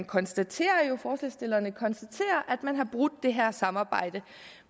konstaterer at man har brudt det her samarbejde